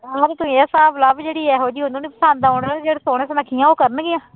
ਹਾਂ ਤੇ ਤੂੰ ਹੀ ਹਿਸਾਬ ਲਾ ਵੀ ਜਿਹੜੀ ਇਹੋ ਜਿਹੀ ਉਹਨੂੰ ਨੀ ਪਸੰਦ ਆਉਂਦੇੇ ਜਿਹੜੇ ਸੋਹਣੇ ਸੁਨੱਖੀਆਂ ਉਹ ਕਰਨਗੀਆਂ।